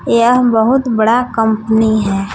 यह बहुत बड़ा कंपनी है।